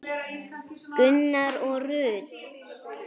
Gunnar og Rut.